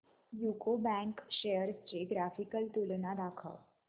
UCO bank shares ची graphical तुलना दाखव